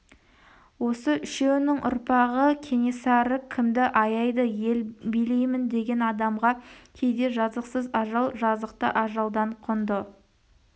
осы үшеуінің ұрпағы кенесары кімді аяйды ел билеймін деген адамға кейде жазықсыз ажал жазықты ажалдан құнды